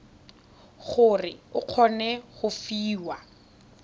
gore o kgone go fiwa